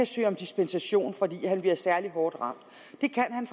søge dispensation fordi han bliver særlig hårdt ramt det kan han